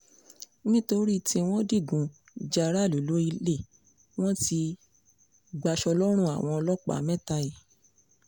nítorí tí wọ́n digun ja aráàlú lọ́lẹ̀ wọn ti gbaṣọ lọ́rùn àwọn ọlọ́pàá mẹ́ta yìí